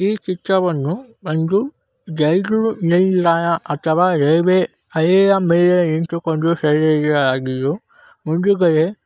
ಈ ಚಿತ್ರವನ್ನು ಒಂದು ರೈಲು ನಿಲ್ದಾಣ ಅಥವಾ ರೈಲ್ವೆ ಹಳಿಯ ಮೆಲೆ ನಿಂತುಕೊಂಡು ಮುಂದುಗಡೆ--